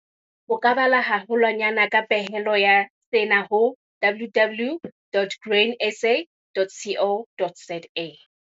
O ka bala haholwanyane ka pehelo ya sena ho- www.grainsa.co.za